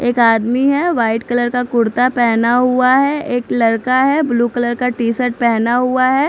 एक आदमी है वाइट कलर का कुर्ता पहना हुआ है एक लड़का है ब्लू कलर का टी शर्ट पहना हुआ है।